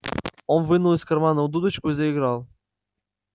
он вынул из кармана дудочку и заиграл